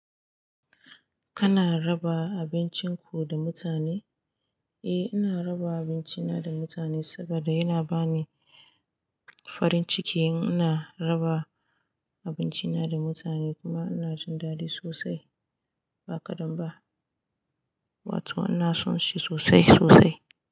Kana raba abincin ku da mutane? Eh, ina raba abincina da mutane saboda yana bani farin ciki in ina raba abinci na da mutane kuma ina jin daɗi sosai. Ba kaɗan ba, wato ina son shi sosai sosai.